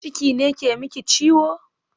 Ciki ne ke miki ciwo?